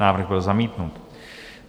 Návrh byl zamítnut.